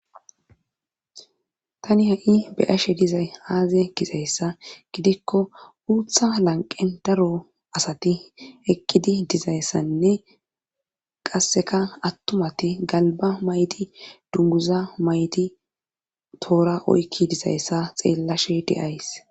tani ha7i beyashe dizay aaze gizayssa gidikko uutha lanqen daro asati eqidi dizayssanne qasseka attumati galba maydi dunguza mayti toora oykki dizayssa xeellashe de'ays